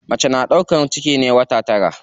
Mace na ɗaukan ciki na wata tara.